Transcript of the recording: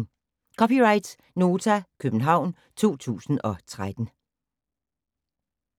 (c) Nota, København 2013